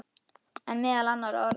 En meðal annarra orða.